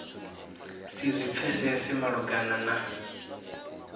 si zwi pfesese malugana na